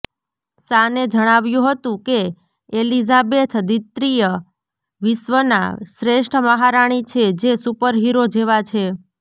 શાને જણાવ્યું હતું કે એલિઝાબેથ દ્વિતીય વિશ્વના શ્રેષ્ઠ મહારાણી છે જે સુપર હીરો જેવાં છે